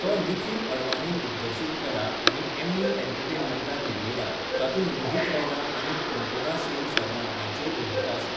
तो निखिल अडवाणीन दिग्दर्शीत केला आनी एम्मी एंटरटेनमेंटान निर्मिला, तातूंत मोहित रैना आनी कोनकोना सेन शर्मा हांच्योय भुमिका आसात.